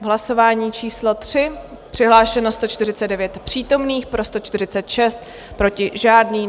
V hlasování číslo 3 přihlášeno 149 přítomných, pro 146, proti žádný.